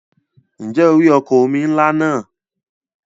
Ǹjẹ́ o rí ọkọ̀ omi ńlá náà?